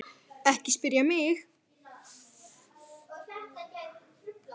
Ekki spyrja mig.